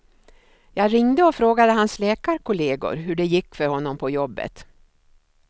Jag ringde och frågade hans läkarkollegor hur det gick för honom på jobbet.